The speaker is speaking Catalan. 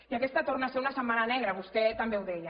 i aquesta torna a ser una setmana negra vostè també ho deia